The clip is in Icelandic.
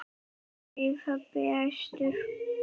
segir pabbi æstur.